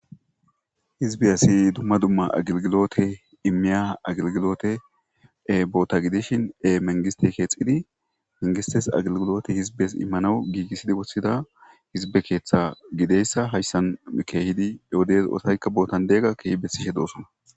hizbe asi dumma dumma agilgilote immiya agilgilote e boota gidishin e mengiste keexidi mengistes agilgilote hizbes immanowu giigissidi wossida hizbe keeththa gideyssa hayssan keehidi oodes ootaykka bootan deega keehi bessishe doossona